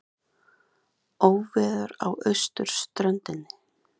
Óveður á austurströndinni